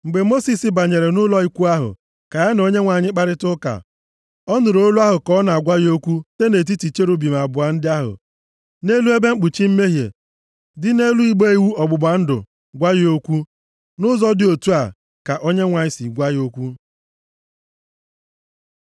Mgbe Mosis banyere nʼụlọ ikwu ahụ ka ya na Onyenwe anyị kparịa ụka, ọ nụrụ olu ahụ ka ọ na-agwa ya okwu site nʼetiti cherubim abụọ ndị ahụ nʼelu ebe mkpuchi mmehie dị nʼelu igbe iwu ọgbụgba ndụ gwa ya okwu. Nʼụzọ dị otu a ka Onyenwe anyị si gwa ya okwu.